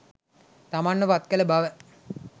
තමන්ව පත්කළ බව